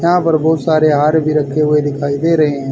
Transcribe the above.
यहां पर बहोत सारे हार भी रखे हुए दिखाई दे रहे--